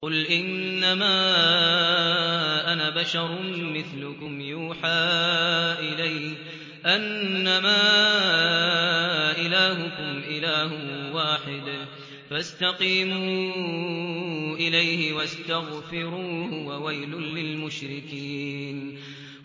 قُلْ إِنَّمَا أَنَا بَشَرٌ مِّثْلُكُمْ يُوحَىٰ إِلَيَّ أَنَّمَا إِلَٰهُكُمْ إِلَٰهٌ وَاحِدٌ فَاسْتَقِيمُوا إِلَيْهِ وَاسْتَغْفِرُوهُ ۗ وَوَيْلٌ لِّلْمُشْرِكِينَ